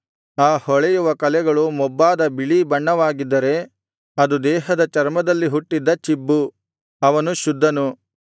ಆ ಹೊಳೆಯುವ ಕಲೆಗಳು ಮೊಬ್ಬಾದ ಬಿಳೀ ಬಣ್ಣವಾಗಿದ್ದರೆ ಅದು ದೇಹದ ಚರ್ಮದಲ್ಲಿ ಹುಟ್ಟಿದ ಚಿಬ್ಬು ಅವನು ಶುದ್ಧನು